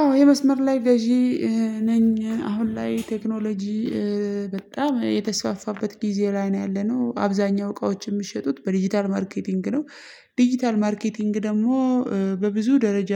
አዎ የመስመር ላይ ገዢ ነኝ አሁን ላይ ቴክኖሎጂ በጣም የተስፋፋበት ጊዜ ላይ ነው ያለነው አብዛኛው እቃዎች የሚሸጡት በዲጂታል ማርኬቲንግ ነው። ዲጂታል ማርኬቲንግ ደግሞ በብዙ ደረጃ